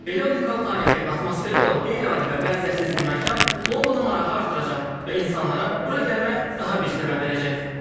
Belə unikal tarixi, atmosferi olan qeyri-adi və bənzərsiz bir məkan Londona marağı artıracaq və insanlara bura gəlmək daha bir səbəb verəcək.